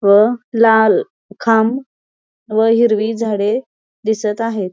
व लाल खांब व हिरवी झाडे दिसत आहेत.